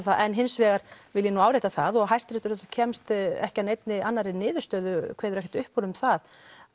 það en hins vegar vil ég nú árétta það og hæsti réttur kemst ekki að neinni annari niðurstöðu kveður ekkert upp úr um það